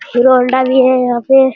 Hero Honda भी है यहाँ पे।